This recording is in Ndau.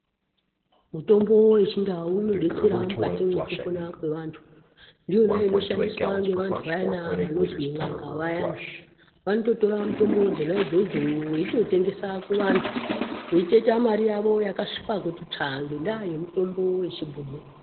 Mutombo wechindau unodetsera mukati mwekupona kwevantu. Ndiyona inoshandiswa nevantu vayani vanozwi n'anga vayana. Vanototora mitombo dzonaidzodzo, veitotengesa kuvantu, veitoita mari yavo yakasvipa kuti tsvaa ngendaa yemitombo yechibhoyi.